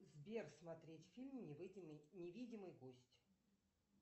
сбер смотреть фильм невидимый гость